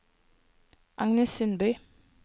Agnes Sundby